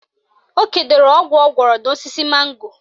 O kedoro ọgwụ ọ gwọrọ n'osisi mango